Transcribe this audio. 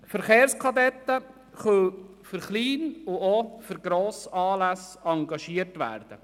Verkehrskadetten können für Klein- und auch für Grossanlässe engagiert werden.